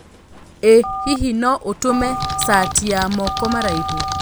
ĩ hihi no ũtũme sati ya moko maraihũ